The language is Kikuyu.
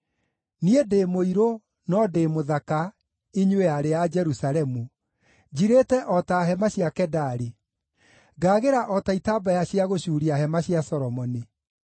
Niĩ ndĩ mũirũ, no ndĩ mũthaka, inyuĩ aarĩ a Jerusalemu, njirĩte o ta hema cia Kedari, ngaagĩra o ta itambaya cia gũcuuria hema cia Solomoni.